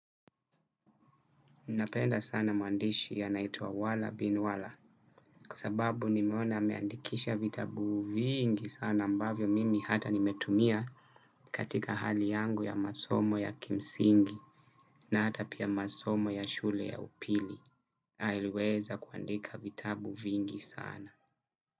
Napenda sana maandishi yanaitwa wala bin wala. Kwa sababu nimeona ameandikisha vitabu vingi sana ambavyo mimi hata nimetumia. Katika hali yangu ya masomo ya kimsingi na hata pia masomo ya shule ya upili aliweza kuandika vitabu vingi sana.